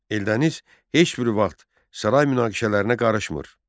Eldəniz heç bir vaxt saray münaqişələrinə qarışmır.